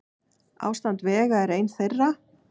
Ástand vega er ein þeirra.